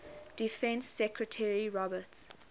defense secretary robert